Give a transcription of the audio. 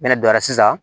Minɛ donna sisan